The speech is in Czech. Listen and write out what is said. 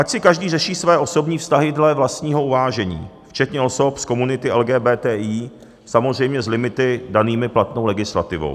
Ať si každý řeší své osobní vztahy dle vlastního uvážení, včetně osob z komunity LGBTI, samozřejmě s limity danými platnou legislativou.